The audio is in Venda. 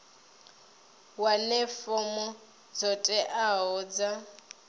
wane fomo dzo teaho dza